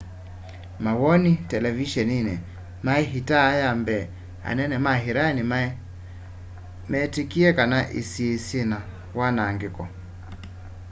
mawoni televiseniini mai iita ya mbee anene ma iran meetikilie kana isii syina wanaangiko